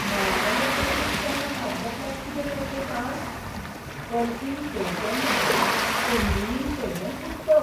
माळ्यावेलेत ट्रंकेंत पोंदां हात घातल्यार कितें मेळचें, सांग? कल्कीन सय केल्लें पोन्नियीन सेल्वन पुस्तक!